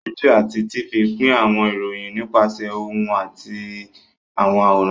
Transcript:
Rédíò àti Tifì pín àwọn ìròyìn nípasẹ̀ ohùn àti àwọn àwòrán